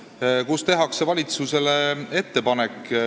Valitsusele tehakse kaheetapiline ettepanek.